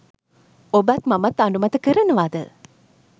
ඔබත් මමත් අනුමත කරනවද?